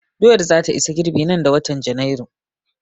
Doyar za ta isa girɓi nan da watan Janairu